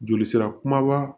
Joli sira kumaba